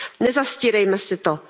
Nezastírejme si to.